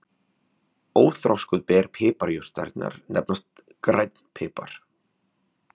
Óþroskuð ber piparjurtarinnar nefnast grænn pipar.